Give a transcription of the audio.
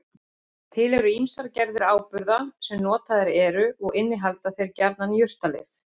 Til eru ýmsar gerðir áburða sem notaðir eru og innihalda þeir gjarnan jurtalyf.